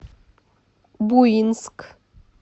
буинск